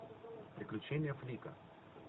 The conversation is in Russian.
приключения флика